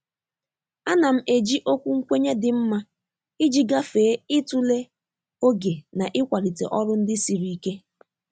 A na m eji okwu nkwenye dị mma iji gafee ịtụle oge na ịmalite ọrụ ndị siri ike.